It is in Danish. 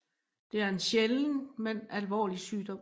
Det er en sjælden men alvorlig sygdom